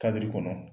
Kabiri kɔnɔ